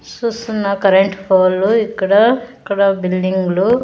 సుస్తున్న current పోలు ఇక్కడ ఇక్కడ బిల్డింగ్లు .